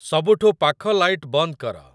ସବୁଠୁ ପାଖ ଲାଇଟ ବନ୍ଦ କର।